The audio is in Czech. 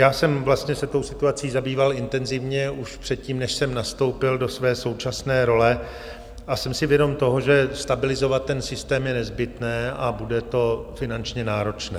Já jsem se tou situací zabýval intenzivně už předtím, než jsem nastoupil do své současné role, a jsem si vědom toho, že stabilizovat ten systém je nezbytné a bude to finančně náročné.